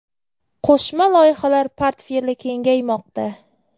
Qo‘shma loyihalar portfeli kengaymoqda.